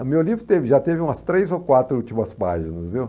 O meu livro teve, já teve umas três ou quatro últimas páginas, viu?